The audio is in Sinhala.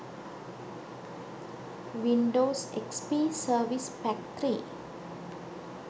windows xp service pack 3